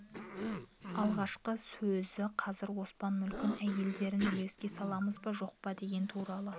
алғашқы сөзі қазір оспан мүлкін әйелдерін үлеске саламыз ба жоқпа деген туралы